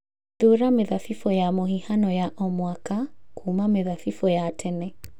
Thuura mĩthabibũ ya mũhihano ya o mwaka kuuma mĩthabibũ-inĩ ya tene